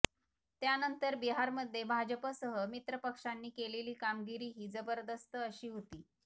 त्यानंतर बिहारमध्ये भाजपसह मित्रपक्षांनी केलेली कामगिरी ही जबरदस्त अशी होती